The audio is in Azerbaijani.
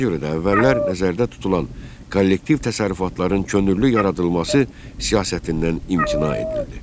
Ona görə də əvvəllər nəzərdə tutulan kollektiv təsərrüfatların könüllü yaradılması siyasətindən imtina edildi.